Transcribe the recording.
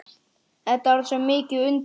Þetta er svo mikið undur.